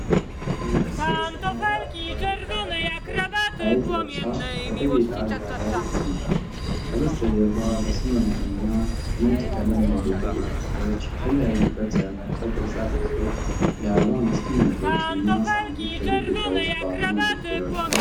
አንዲት ሴት ሰማያዊ አረንጓዴ ቀለም ያለው ሀይድ ለብሳ፣ በተጌጠ አልጋ ላይ ተቀምጣለች። ከበስተጀርባ በሰማያዊና ነጭ ቀለም ያጌጡ ግድግዳዎች፣ የተለያዩ ቅርጽ ያላቸው ቅርፃቅርፆች፣ የአበባ ማስቀመጫዎችና ሳህኖች በግድግዳው ውስጥ ባሉ መደርደሪያዎች ላይ አሉ።